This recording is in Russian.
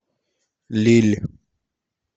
лилль